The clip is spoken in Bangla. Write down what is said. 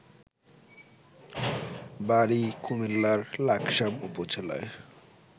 বাড়ি কুমিল্লার লাকসাম উপজেলায়